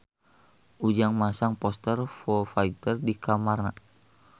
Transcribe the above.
Ujang masang poster Foo Fighter di kamarna